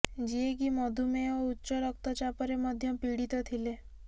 ଯିଏକି ମଧୁମେହ ଓ ଉଚ୍ଚ ରକ୍ତଚାପରେ ମଧ୍ୟ ପୀଡିତ ଥିଲେ